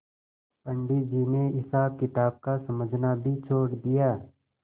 पंडित जी ने हिसाबकिताब का समझना भी छोड़ दिया